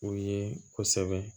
O ye kosɛbɛ